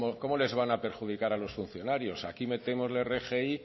cómo les van a perjudicar a los funcionarios aquí metemos la rgi